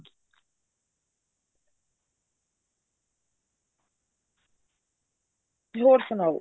ਹੋਰ ਸੁਣਾਓ